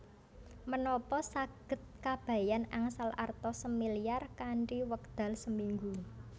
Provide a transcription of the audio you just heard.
Menapa saged Kabayan angsal arta semilyar kanthi wekdal seminggu